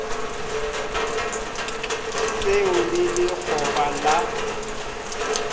se o le lekgoba la